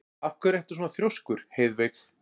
Af hverju ertu svona þrjóskur, Heiðveig?